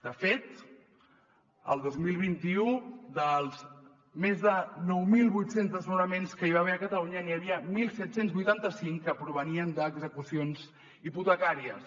de fet el dos mil vint u dels més de nou mil vuit cents desnonaments que hi va haver a catalunya n’hi havia disset vuitanta cinc que provenien d’execucions hipotecàries